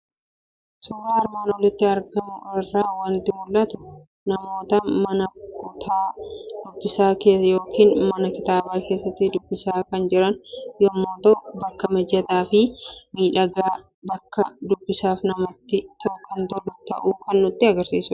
Suuraa armaan olitti argamu irraa waanti mul'atu; namoota mana kutaazz dubbisaa yookiin mana kitaaba keessatti dubbisaa kan jiran yommuu ta'u, bakka mijataafi miidhagaax bakka dubbisaaf namatti kan tolu ta'uu kan nutti agarsiisudha.